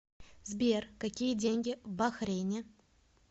сбер какие деньги в бахрейне